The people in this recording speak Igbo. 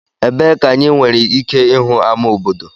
Ebee ka anyị nwere ike ịhụ ama obodo?